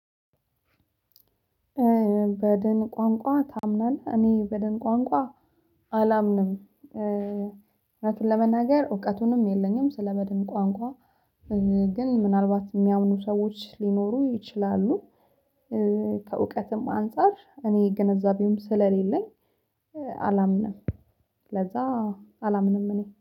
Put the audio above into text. በድን ቋንቋ ታምናለህ እኔ በድን ቋንቋ አላምንም እውነቱን ለመናገር እውቀቱንም የለኝም ስለበድን ቋንቋ ግን ምናልባት የሚያምኑ ሰዎች ሊኖሩ ይችላሉ። ከእውቀትም አንፃር እኔ ግንዛቤውም ስለሌለኝ አላምንም። ለዛ አላምንም እኔ